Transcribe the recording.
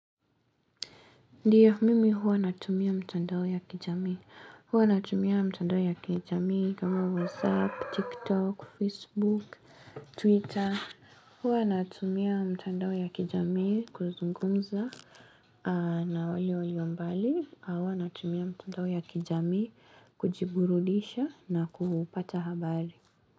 Ndio, mimi huwa natumia mitandao ya kijamii. Huwa natumia mitandao ya kijami kama WhatsApp, TikTok, Facebook, Twitter. Huwa natumia mitandao ya kijami kuzungumza na wale walio mbali. Huwa natumia mitandao ya kijami kujiburudisha na kupata habari.